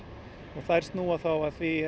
og þær snúa að því